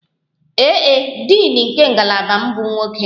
Ee e, Din nke ngalaba m bụ nwoke